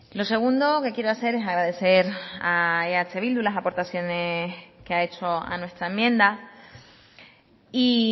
lo segundo que quiero hacer es agradecer a eh bildu las aportaciones que ha hecho a nuestra enmienda y